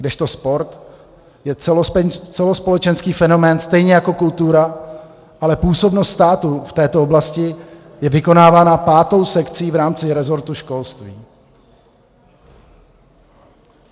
Kdežto sport je celospolečenský fenomén stejně jako kultura, ale působnost státu v této oblasti je vykonávána pátou sekcí v rámci resortu školství.